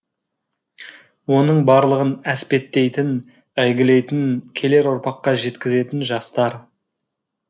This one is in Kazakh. оның барлығын әспеттейтін әйгілейтін келер ұрпаққа жеткізетін жастар